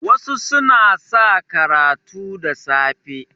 wasu suna sa karatu da safe